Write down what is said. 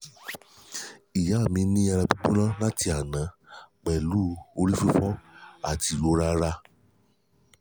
ìyá mi ní ara gbígbóná láti gbígbóná láti àná pẹ̀lú orí fifo àti ìrora ara